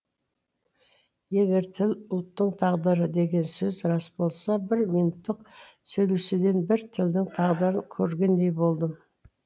егер тіл ұлттың тағдыры деген сөз рас болса бір минуттық сөйлесуден бір тілдің тағдырын көргендей болдым